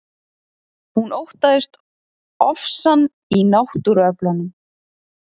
Hún óttaðist ofsann í náttúruöflunum.